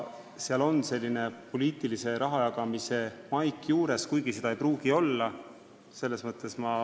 Seal on selline poliitilise raha jagamise maik juures, kuigi seda ei pruugi olla.